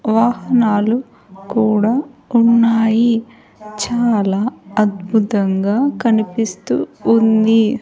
వాహనాలు కూడా ఉన్నాయి చాలా అద్భుతంగా కనిపిస్తూ ఉంది.